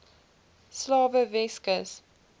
slawe weskus